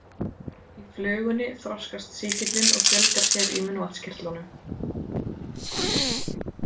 Í flugunni þroskast sýkillinn og fjölgar sér í munnvatnskirtlunum.